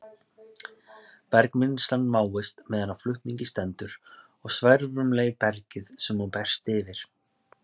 Bergmylsnan máist, meðan á flutningi stendur, og sverfur um leið bergið, sem hún berst yfir.